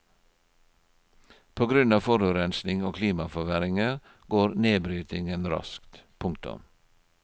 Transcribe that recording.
På grunn av forurensning og klimaforverringer går nedbrytningen raskt. punktum